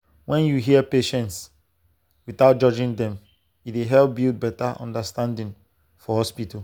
when you hear patients without judging dem e dey help build better understanding for hospital.